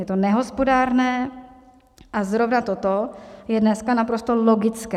Je to nehospodárné a zrovna toto je dneska naprosto logické.